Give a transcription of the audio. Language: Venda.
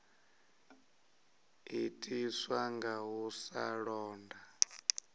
itiswa nga u sa londa